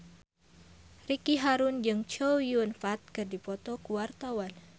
Ricky Harun jeung Chow Yun Fat keur dipoto ku wartawan